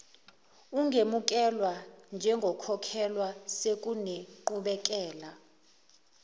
ungemukelwa njengokhokhelwayo sekunenqubekela